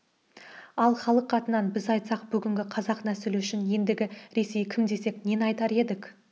ал халық атынан біз айтсақ бүгінгі қазақ нәсілі үшін ендігі ресей кім десек нені айтар едік